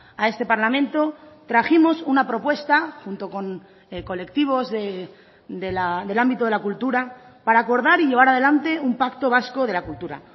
a este parlamento trajimos una propuesta junto con colectivos del ámbito de la cultura para acordar y llevar adelante un pacto vasco de la cultura